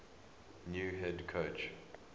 new head coach